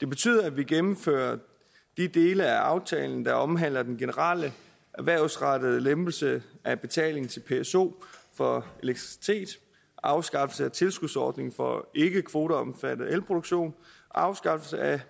det betyder at vi gennemfører de dele af aftalen der omhandler den generelle erhvervsrettede lempelse af betalingen til pso for elektricitet afskaffelse af tilskudsordningen for ikkekvoteomfattet elproduktion og afskaffelse af